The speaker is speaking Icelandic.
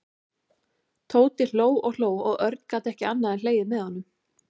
Tóti hló og hló og Örn gat ekki annað en hlegið með honum.